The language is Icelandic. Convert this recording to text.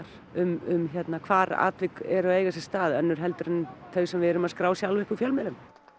um hvar atvik eru að eiga sér stað önnur heldur en þau sem við erum að skrá sjálf upp úr fjölmiðlum